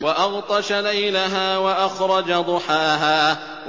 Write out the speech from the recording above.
وَأَغْطَشَ لَيْلَهَا وَأَخْرَجَ ضُحَاهَا